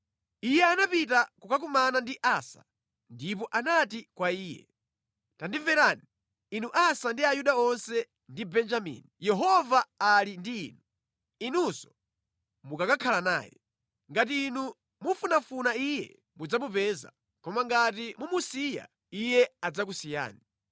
Iye anapita kukakumana ndi Asa ndipo anati kwa iye, “Tandimverani, inu Asa ndi Ayuda onse ndi Benjamini. Yehova ali ndi inu, inunso mukakhala naye. Ngati inu mumufunafuna Iye mudzamupeza, koma ngati mumusiya, Iye adzakusiyani.